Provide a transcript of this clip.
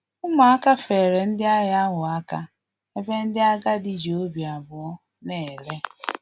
Umuaka feere ndị agha ahụ aka, ebe ndị agadi ji obi abụọ na-ele